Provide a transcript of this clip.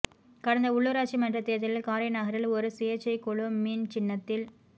கடந்த உள்ளூராட்சி மன்ற தேர்தலில் காரைநகரில் ஒரு சுயேட்சைக் குழு மீன் சின்னத்தில்